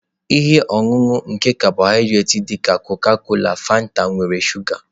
Ihe ọṅụṅụ nke karbonated dị ka Coca-cola Fanta nwere shuga.